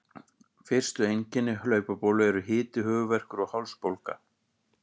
Fyrstu einkenni hlaupabólu eru hiti, höfuðverkur og hálsbólga.